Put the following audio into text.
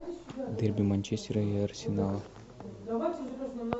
дерби манчестера и арсенала